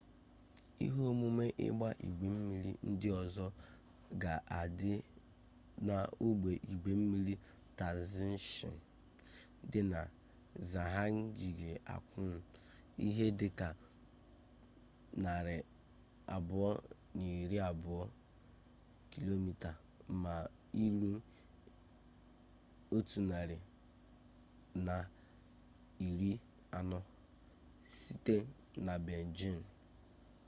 ihe omume igba-igwe mmiri ndi ozo ga adi na ogbe igwe mmiri taizicheng di na zhangjiakou ihe dika 220 km mailu 140 site nabeijing